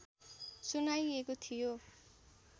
सुनाइएको थियो